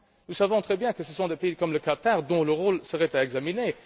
Nous savons très bien que ce sont des pays comme le Qatar, dont le rôle serait à examiner.